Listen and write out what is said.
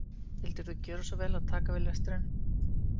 Vildirðu gjöra svo vel að taka við lestrinum